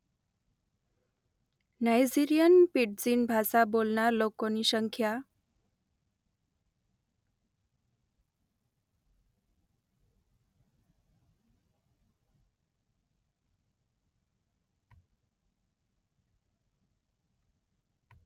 Nigerian pidgin ભાષા બોલનારા લોકોની સંખ્યા